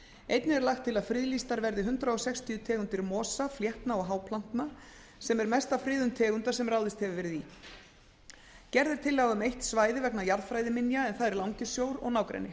einnig er lagt til að friðlýstar verði hundrað sextíu tegundir mosa fléttna og háplantna sem er mesta friðun tegunda sem ráðist hefur verið í gerð er tillaga um eitt svæði vegna jarðfræðiminja en það er langisjór og nágrenni